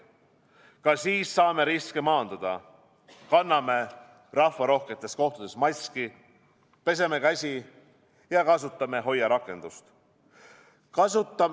Ka siis saame riske maandada: kanname rahvarohketes kohtades maski, peseme käsi ja kasutame HOIA rakendust.